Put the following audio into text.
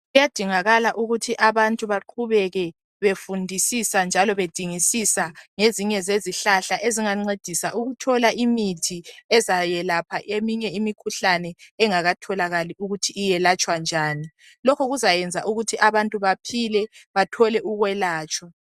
Kuyadingakala ukuthi abantu baqhubeke befundisisa njalo bedingisisa ngezinye zezihlahla ezingancedisa ukuthola imithi ezayelapha eminye imikhuhlane engakatholakali ukuthi iyelatshwa njani. Lokhu kuzayenza ukuthi abantu baphile bathole ukwelatshwa